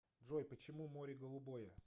джой почему море голубое